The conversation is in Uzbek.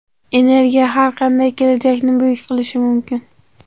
Energiya har qanday kelajakni buyuk qilishi mumkin.